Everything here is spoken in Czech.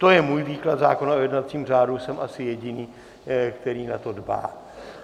To je můj výklad zákona o jednacím řádu, jsem asi jediný, který na to dbá.